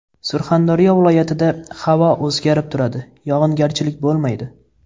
Surxondaryo viloyatida havo o‘zgarib turadi, yog‘ingarchilik bo‘lmaydi.